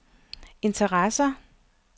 interesser